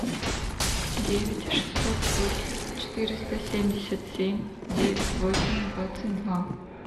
девять шестьсот восемь четыреста семьдесят семь девять восемь двадцать два